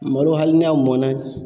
Malo hali n'a mɔnna.